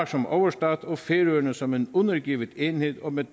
som overstat og færøerne som en undergivet enhed og med